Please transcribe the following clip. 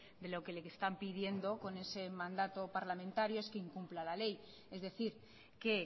que lo que le están pidiendo con ese mandato parlamentario es que incumpla le ley es decir que